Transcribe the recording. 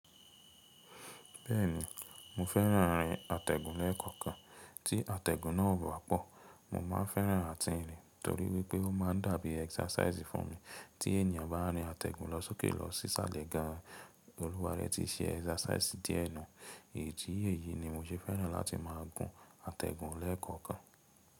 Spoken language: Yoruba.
Bẹ́ẹ̀ni, mo fẹ́ràn rín àtẹ̀gùn lẹ́ẹ̀kọ̀kan, tí àtẹ̀gùn náà bá pọ̀, mo má a fẹ́ràn àti rìn torí wípé ó mab ń dàbí exercise fún mi. Tí ènìyàn bá rín àtẹ̀gùn lọ sókè lọ sí ṣálẹ́ gan, olúwa rẹ́ ti ṣe exercise díẹ̀ nù. Ìdí èyí ni mo ṣe fẹ́ràn láti máa gún àtẹ̀gùn lẹ́ẹ̀kọ̀kan.